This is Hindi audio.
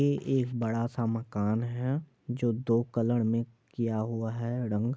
ये एक बड़ा-सा मकान है जो दो कलर में किया हुआ है रंग ---